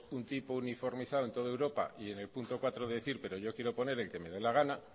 un tipo uniformizado en todo europa y en el punto cuatro decir pero yo quiero poner el que me dé la gana